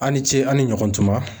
A' ni ce aw ni ɲɔgɔntuma.